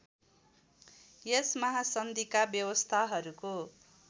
यस महासन्धिका व्यवस्थाहरूको